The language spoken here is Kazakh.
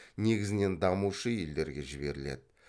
негізінен дамушы елдерге жіберіледі